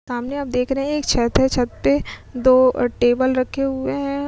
सामने आप देख रहे हैं एक छत है। छत पे दो टेबल रखे हुए हैं।